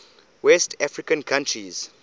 west african countries